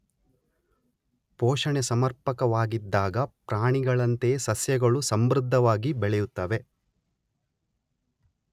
ಪೋಷಣೆ ಸಮರ್ಪಕವಾಗಿದ್ದಾಗ ಪ್ರಾಣಿಗಳಂತೆಯೇ ಸಸ್ಯಗಳು ಸಮೃದ್ಧವಾಗಿ ಬೆಳೆಯುತ್ತವೆ.